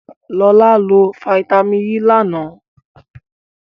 Lọlá lo fataímìn E lánàá.